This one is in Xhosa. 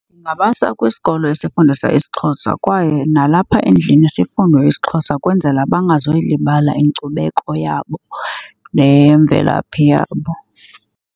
Ndingabasa kwisikolo esifundisa isiXhosa kwaye nalapha endlini sifundwe isiXhosa kwenzela bangazoyilibala inkcubeko yabo nemvelaphi yabo.